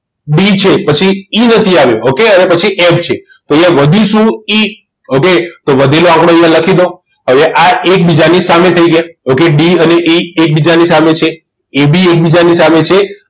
D છે પછી E નથી આવ્યો okay અને એના પછી F છે તો અહીંયા વધ્યું શું એ વધે તો વધેલા આપણે અહીં લખી દો હવે આ એકબીજાની સામે થઈ ગયા okayD અને E એકબીજાની સામે છે AB એકબીજાની સામે છે